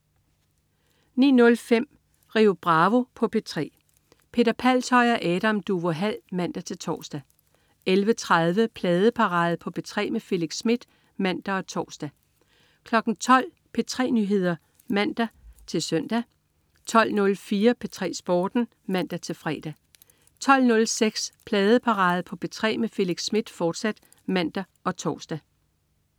09.05 Rio Bravo på P3. Peter Palshøj og Adam Duvå Hall (man-tors) 11.30 Pladeparade på P3 med Felix Smith (man og tors) 12.00 P3 Nyheder (man-søn) 12.04 P3 Sporten (man-fre) 12.06 Pladeparade på P3 med Felix Smith, fortsat (man og tors)